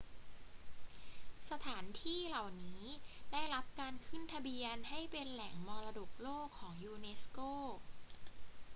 สถานที่เหล่านี้ได้รับการขึ้นทะเบียนให้เป็นแหล่งมรดกโลกของยูเนสโก